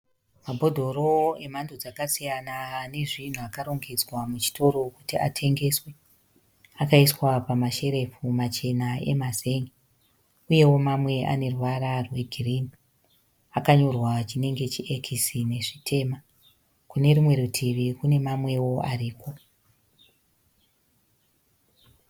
Mabhodhoro emhando dzakasiyana anezvinhu akarongedzwa muchitoro kuti atengeswe. Akaiswa pamasherefu machena emazenge. Uyewo mamwe aneruvara rwe girinhi . Akanyorwa chinenge chi X nezvitema. Kune rumwe rutivi kune mamwewo ariko.